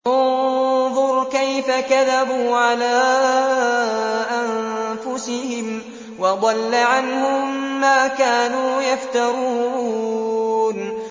انظُرْ كَيْفَ كَذَبُوا عَلَىٰ أَنفُسِهِمْ ۚ وَضَلَّ عَنْهُم مَّا كَانُوا يَفْتَرُونَ